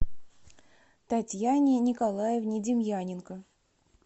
татьяне николаевне демьяненко